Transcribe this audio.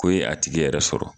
Ko ye a tigi yɛrɛ sɔrɔ